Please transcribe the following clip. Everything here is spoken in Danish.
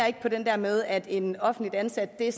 på den der med at en offentligt ansat er